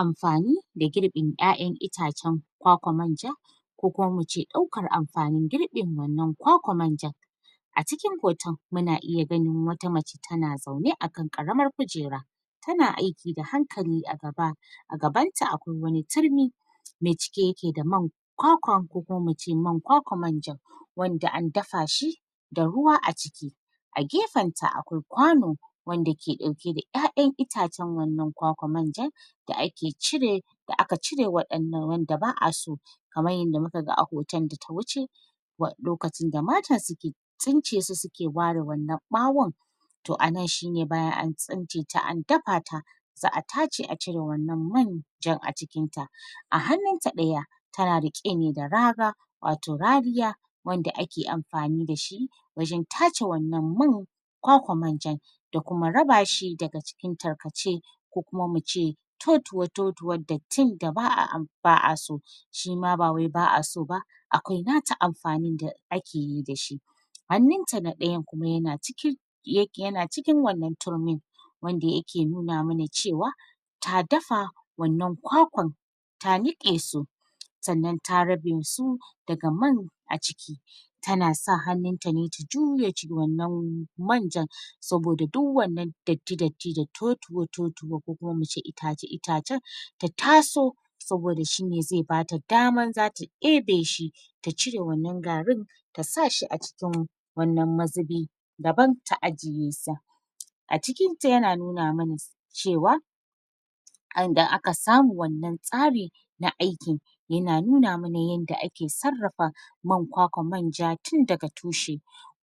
Amfani da girɓin 'ya'yan itace kwakwar manja ko kuma mu ce ɗaukar amfanin girɓin wannan kwakwar manjan a cikin hoton mu na iya ganin wata mace ta na zaune a kan ƙaramar kujera, ta na aiki da hankali a gaba a gabanta akwai wani turmi mai cike ya ke da man kwakwa, ko kuma mu ce man kwakwar manjan wanda an dafa shi da ruwa a ciki, a gefenta akwai kwano wanda ke ɗauke da 'ya'yan itacen wannan kwakwar manjan da ake cire da aka cire waɗanda...wanda ba'a so, kamar yadda mu ka ga a hoton da ta wuce lokacin da mata su ke tsincesu su ke ware wannan ɓawon to a nan shine bayan an tsinceta an dafa ta za'a tace a cire wannan manjan a cikinta, a hannunta ɗaya ta na riƙe ne da rara wato rariya wanda ake amfani da shi wajen ta ce wannan man kwakwa manjan da kuma raba shi daga cikin tarkace ko kuma mu ce totuwatotuwan dattin da ba'a so shima ba wai ba'a so ba, akwai na ta amfanin da ake yi da shi, hannunta na ɗayan kuma ya na cikin ya na cikin wannan turmin wanda ya ke nuna ma na ce wa ta dafa wannan kwakwan ta niƙe su sannan ta rabe su daga man a ciki, ta na sa hannunta ne ta juya wannan manjan saboda duk wannan datti datti da totuwa-totuwa ko kuma mu ce itace-itacen ta taso saboda shine zai bata daman zata ɗebe shi ta cire wannan garin ta sa shi a cikin wannan mazubi daban ta ajiye sa, a cikinta ya na nuna ma na ce wa inda aka samu wannan tsari na aikin ya na nuna ma na yadda ake sarrafa man kwakwar manja tun daga tushe,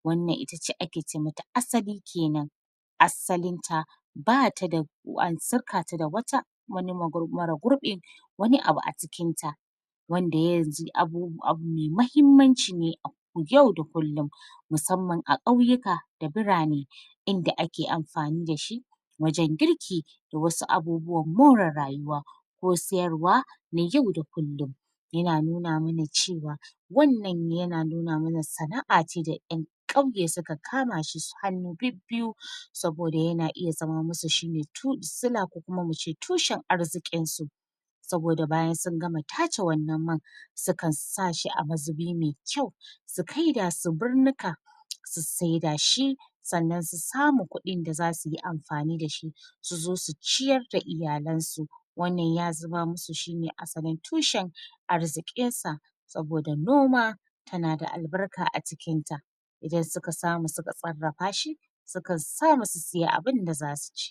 wannan itace wacce ake ce ma ta asali kenan, assalinta ba ta da ko an sirkata da wata mara gurɓin wani abu a cikinta, wanda ya zama abu mai mahimmanci ne yau da kullum, musamman a ƙauyuka da birane inda ake amfani da shi wajen girki da wasu abubuwan more rayuwa, ko sayarwa na yau da kullum, ya na nuna ma na ce wa wannan ya na nuna ma na sana'a ce da 'yan ƙauye su ka kama shi hannu bibbiyu saboda ya na zame ma su shine sila ko tushen arziƙinsu, saboda bayan sun gama ta ce wannan man sukan sa shi a mazubi mai kyau su saida su birnika su saida shi sannan su samu kuɗin da za su yi amfani da shi su zo su ciyar da iyalansu, wannan ya zame masu shine asalin tushen arziƙinsa saboda noma tana da albarka acikinta, idan su ka samu su ka sarrafa shi sukan samu su sai abinda za su ci.